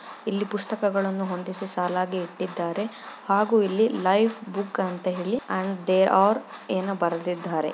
ಇಲ್ಲಿ ಪುಸ್ತಕಗಳನ್ನು ಹೊಂದಿಸಿ ಸಾಲಾಗಿ ಇಟ್ಟಿದ್ದಾರೆ ಹಾಗು ಇಲ್ಲಿ ಲೈಫ್ ಬುಕ್ ಅಂತ ಹೇಳಿ ಅಂಡ್ ದೇ ಆರ್ ಏನೋ ಬರೆದಿದ್ದಾರೆ.